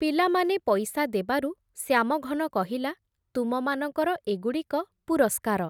ପିଲାମାନେ ପଇସା ଦେବାରୁ, ଶ୍ୟାମଘନ କହିଲା, ତୁମମାନଙ୍କର ଏଗୁଡ଼ିକ ପୁରସ୍କାର ।